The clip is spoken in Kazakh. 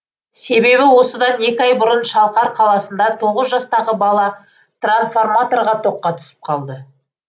себебі осыдан екі ай бұрын шалқар қаласында тоғыз жастағы бала трансформаторға тоққа түсіп қалды